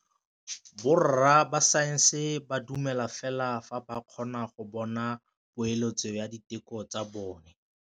Borra saense ba dumela fela fa ba kgonne go bona poeletsô ya diteko tsa bone.